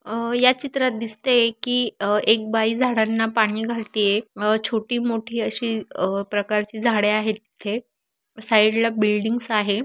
अ या चित्रात दिसते की अ एक बाई झाडाना पाणी घालती आहे अ छोटी मोठी अशी अ प्रकारची झाडे आहे इथे साइड ला बिल्डिंगस आहे.